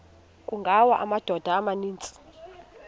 kungawa amadoda amaninzi